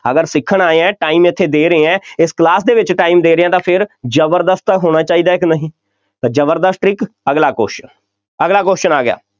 ਅਗਰ ਸਿੱਖਣਾ ਆਏ ਹਾਂ, time ਇੱਥੇ ਦੇ ਰਹੇ ਹਾਂ, ਇਸ class ਦੇ ਵਿੱਚ time ਦੇ ਰਹੇ ਹਾਂ, ਤਾਂ ਫੇਰ ਜ਼ਬਰਦਸਤ ਤਾਂ ਹੋਣਾ ਚਾਹੀਦਾ ਹੈ ਕਿ ਨਹੀਂ, ਜ਼ਬਰਦਸਤ trick ਅਗਲਾ question ਅਗਲਾ question ਆ ਗਿਆ,